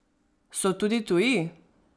So tudi tuji?